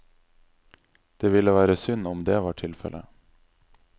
Det ville være synd om det var tilfellet.